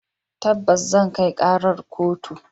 Tabbas zan kai karar kotu.